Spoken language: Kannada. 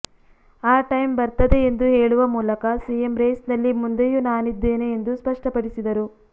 ಆ ಟೈಂ ಬರ್ತದೆ ಎಂದು ಹೇಳುವ ಮೂಲಕ ಸಿಎಂ ರೇಸ್ ನಲ್ಲಿ ಮುಂದೆಯೂ ನಾನಿದ್ದೇನೆ ಎಂದು ಸ್ಪಷ್ಟಪಡಿಸಿದರು